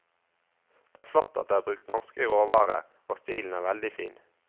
Det er flott at det er brukt norske råvarer, og stilen er veldig fin.